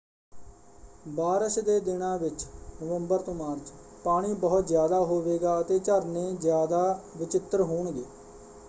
ਬਾਰਸ਼ ਦੇ ਦਿਨਾਂ ਵਿੱਚ ਨਵੰਬਰ ਤੋਂ ਮਾਰਚ ਪਾਣੀ ਬਹੁਤ ਜ਼ਿਆਦਾ ਹੋਵੇਗਾ ਅਤੇ ਝਰਨੇ ਜ਼ਿਆਦਾ ਵਚਿੱਤਰ ਹੋਣਗੇ।